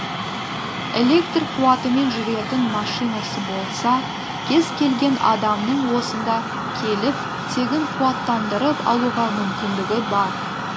электр қуатымен жүретін машинасы болса кез келген адамның осында келіп тегін қуаттандырып алуға мүмкіндігі бар